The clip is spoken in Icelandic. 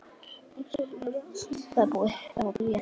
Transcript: Og selurðu það svo?